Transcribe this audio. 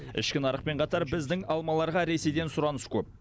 ішкі нарықпен қатар біздің алмаларға ресейден сұраныс көп